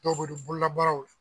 dɔw bɛ don bololabaaraw